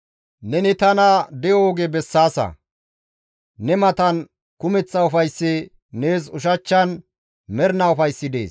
Neni tana de7o oge bessaasa; ne matan kumeththa ufayssi, nees ushachchan mernaa ufayssi dees.